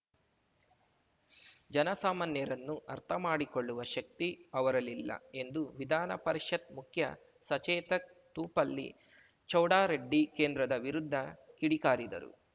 ಜನಸಾಮಾನ್ಯರನ್ನು ಅರ್ಥಮಾಡಿಕೊಳ್ಳುವ ಶಕ್ತಿ ಅವರಲ್ಲಿಲ್ಲ ಎಂದು ವಿಧಾನ ಪರಿಷತ್ ಮುಖ್ಯ ಸಚೇತಕ್ ತೂಪಲ್ಲಿ ಚೌಡಾರೆಡ್ಡಿ ಕೇಂದ್ರದ ವಿರುದ್ದ ಕಿಡಿಕಾರಿದರು